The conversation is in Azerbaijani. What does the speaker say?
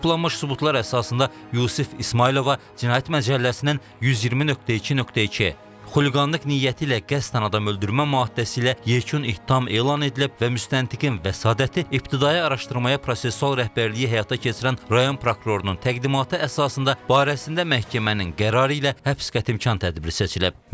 Toplanmış sübutlar əsasında Yusif İsmayılova cinayət məcəlləsinin 120.2.2 xuliqanlıq niyyəti ilə qəsdən adam öldürmə maddəsi ilə yekun ittiham elan edilib və müstəntiqin vəsadəti ibtidai araşdırmaya prosessual rəhbərliyi həyata keçirən rayon prokurorunun təqdimatı əsasında barəsində məhkəmənin qərarı ilə həbs qətimkan tədbiri seçilib.